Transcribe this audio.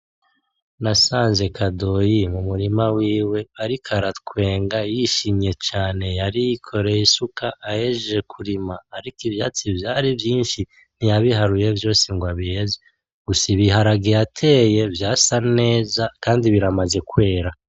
Nasanze Kadoyi mumurima wiwe, ariko aratwenga yishimye cane, ahejeje kurima ariko ivyatsi vyari vyinshi ntiyabiharuye vyose ng'abiheze gusa ibiharge yateye vyasa neza kandi biramaze kwera.